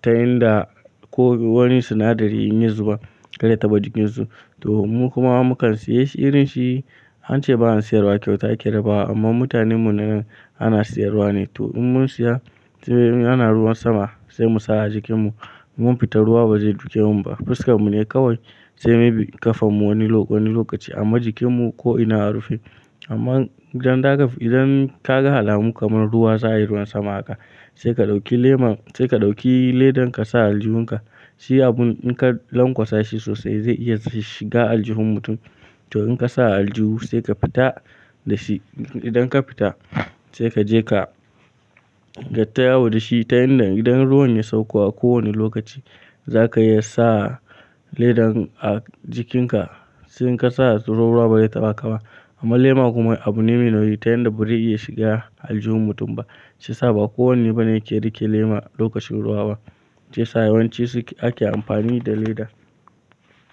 ta yanda ko wani sinadari in yi zuba kar ya taba jikin su. To mu kuma mukan siya irin shi an ce ba'an siyarwa kyauta a ƙera ba amma mutanen mu na nan ana siyarwa ne. To in mun siya, in ana ruwan sama sai mu sa a jikin mu, mun fita ruwa ba zai duke mun ba fuskar mu ne kawai sai maybe ƙafan mu wani lokaci amma jikin mu ko ina a rufe. Amman idan daga, idan kaga alamu kamar ruwa za yi ruwan sama haka sai ka ɗauki lemon, sai ka ɗauki ledan ka sa a aljihun ka shi abun in ka lankwasa shi sosai zai iya shiga aljihun mutum. To in ka sa a aljihu sai ka fita da shi. Idan ka fita sai ka je ka kai tayawo da shi ta yanda idan ruwan ya sauko a kowane lokaci zaka iya sa ledan a jikin ka. Shi inka sa ruwa ba zai taɓa ka ba amma lema kuma abu me nauyi ta yanda bai iya shiga aljihun mutum ba. Shiyasa ba kowanne bane yake rike lema a lokacin ruwa ba. Shiyasa yawanci suke ake amfani da leda.